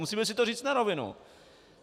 Musíme si to říct na rovinu.